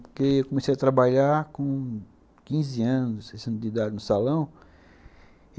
Porque eu comecei a trabalhar com quinze anos, dezesseis anos de idade, no salão.